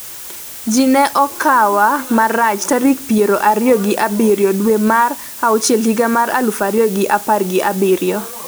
ji ne okawa marach tarik piero ariyo gi abiriyo dwe mar auchiel higa mar aluf ariyo gi apar gi abiriyo